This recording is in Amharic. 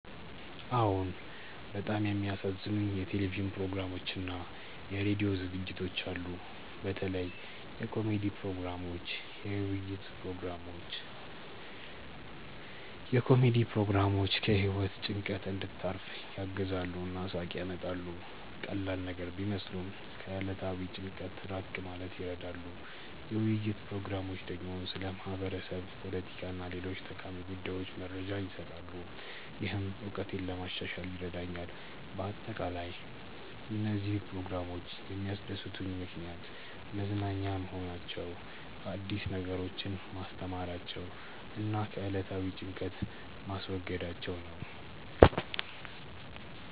አዎን፣ በጣም የሚያዝናኑኝ የቴሌቪዥን ፕሮግራሞችና የራዲዮ ዝግጅቶች አሉ። በተለይ የኮሜዲ ፕሮግራሞች፣ የውይይት ፕሮግራሞች። የኮሜዲ ፕሮግራሞች ከህይወት ጭንቀት እንድታርፍ ያግዛሉ እና ሳቅ ያመጣሉ። ቀላል ነገር ቢመስሉም ከዕለታዊ ጭንቀት ራቅ ማለት ይረዳሉ። የውይይት ፕሮግራሞች ደግሞ ስለ ማህበረሰብ፣ ፖለቲካ እና ሌሎች ጠቃሚ ጉዳዮች መረጃ ይሰጣሉ፣ ይህም እውቀቴን ለማሻሻል ይረዳኛል በአጠቃላይ፣ እነዚህ ፕሮግራሞች የሚያስደስቱኝ ምክንያት መዝናኛ መሆናቸው፣ አዲስ ነገሮችን ማስተማራቸው እና ከዕለታዊ ጭንቀት ማስወገዳቸው ነው